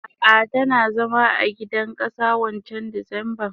Ah ah tana zama a gidan kasa wancan disemban.